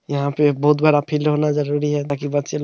यहाँ पे एक बहुत बड़ा फील्ड होना जरुरी है। ताकि बच्चे लो--